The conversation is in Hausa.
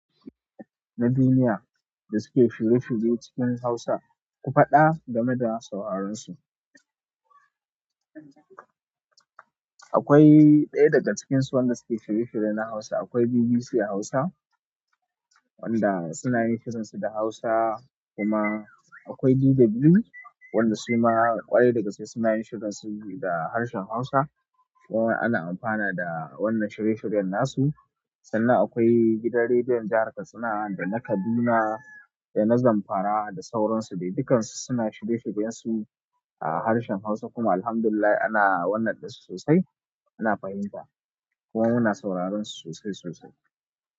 Na duniya da suke shirye-shirye cikin Hausa, ku faɗa game da sauransu. Akwai ɗaya daga cikinsu wanda suke shirye-shirye na Hausa. Akwai BBC Hausa wanda suna yin shirin su da Hausa, kuma akwai DW wanda su ma ƙwarai da gaske suna yin shirin su da harshen Hausa. Kuma ana amfana da wannan shirye-shiryen nasu. Sannan akwai gidan rediyon jihar Katsina da na Kaduna da na Zamfara da sauransu. Dai dukansu suna shirye-shiryen su a harshen Hausa kuma Alhamdulillah ana wannan din su sosai. Ana fahimta kuma muna sauraron su sosai sosai.